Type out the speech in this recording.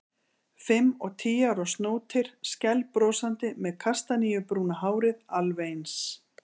Fimm og tíu ára snótir, skælbrosandi, með kastaníubrúna hárið alveg eins.